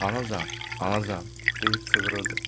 "Anacan, anacan," deyib çığırırdı.